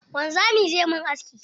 Wanzamin zai min aski.